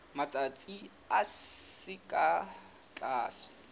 matsatsi a seng ka tlase